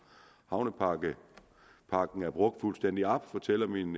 havnepakken er brugt fuldstændig op fortæller min